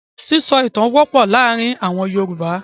Sísọ ìtan wọ́pọ̀ láàárin àwọn Yorùbá.